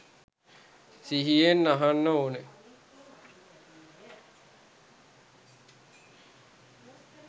සිහියෙන් අහන්න ඕන.